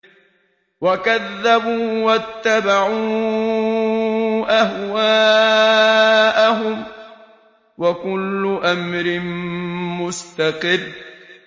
وَكَذَّبُوا وَاتَّبَعُوا أَهْوَاءَهُمْ ۚ وَكُلُّ أَمْرٍ مُّسْتَقِرٌّ